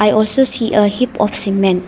i also see a heap of cement.